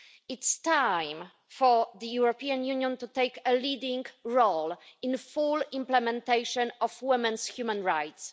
It's time for the European Union to take a leading role in the full implementation of women's human rights.